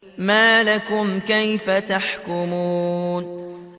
مَا لَكُمْ كَيْفَ تَحْكُمُونَ